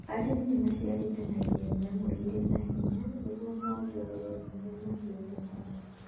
Arĩmi nĩ maciaragithani nyamũ irĩ na hinya nĩguo mongerere hinya mahiũ mao.